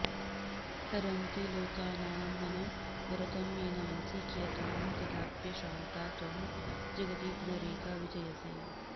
हरन्ती लोकानामनवरतमेनांसि कियतां कदाप्यश्रान्ता त्वं जगति पुनरेका विजयसे